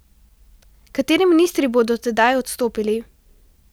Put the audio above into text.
Kateri ministri bodo tedaj odstopili?